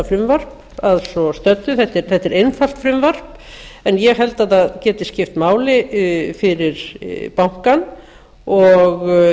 frumvarp að svo stöddu þetta er einfalt frumvarp en ég held að það geti skipt máli fyrir bankann og